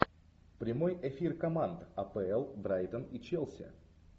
прямой эфир команд апл брайтон и челси